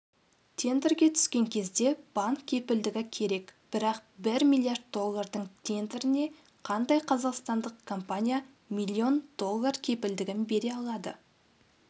тендерге түскен кезде банк кепілдігі керек бірақ бір миллиард доллардың тендеріне қандай қазақстандық компания миллион доллар кепілдігін бере алады